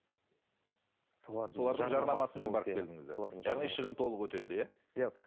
яғни шығын толық өтелді иә иә